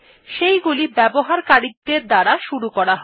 সেইগুলি ব্যবহারকারীদের দ্বারা শুরু করা হয়